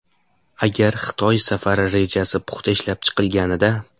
Agar Xitoy safari rejasi puxta ishlab chiqilganida.